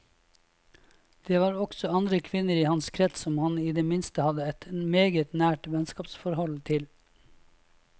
Det var også andre kvinner i hans krets som han i det minste hadde et meget nært vennskapsforhold til.